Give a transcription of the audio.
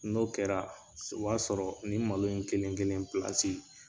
N'o kɛra o b'a sɔrɔ ni in malo in kelen kelen pilasi.